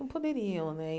Não poderiam. Né